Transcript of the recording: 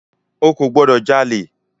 O kò gbọ́dọ̀ jalè!